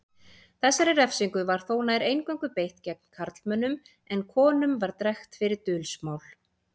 Þessari refsingu var þó nær eingöngu beitt gegn karlmönnum en konum var drekkt fyrir dulsmál.